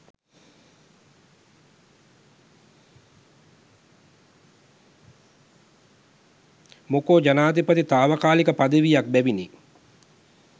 මොකො ජනපති තාවකාලික පදවියක් බෑවිනි.